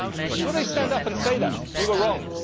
Will they stand up and say, We were wrong'?